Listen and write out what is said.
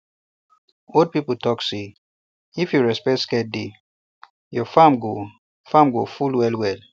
old people talk say um if you respect sacred day your um farm go farm go full well well